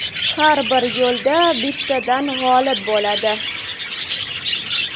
Har bir yo‘lda bittadan g‘olib bo‘ladi.